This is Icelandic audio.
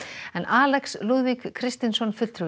Alex Lúðvík Kristinsson fulltrúi